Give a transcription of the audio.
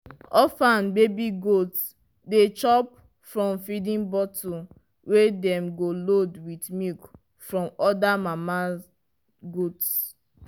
orphan baby goats dey chop from feeding bottle wey dem load with milk from other mama goats.